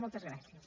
moltes gràcies